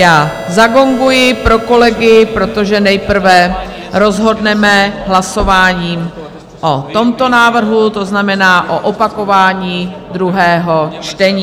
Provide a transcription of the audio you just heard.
Já zagonguji pro kolegy, protože nejprve rozhodneme hlasováním o tomto návrhu, to znamená o opakování druhého čtení.